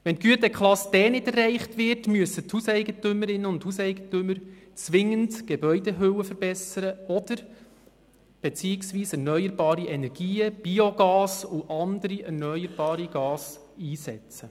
Falls die Güteklasse D nicht erreicht wird, müssen die Hauseigentümerinnen und Hauseigentümer zwingend ihre Gebäudehülle verbessern beziehungsweise erneuerbare Energien wie Biogas und andere erneuerbare Gase einsetzen.